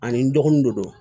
Ani n dɔgɔninw de don